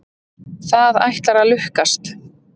Það ætlar að lukkast.